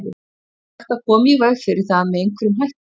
Er hægt að koma í veg fyrir það með einhverjum hætti?